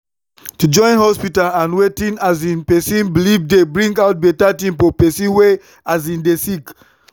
to join hospita and wetin um pesin belief dey bring out beta tin for pesin wey um dey sick